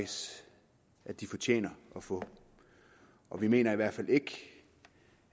de fortjener at få vi mener i hvert fald ikke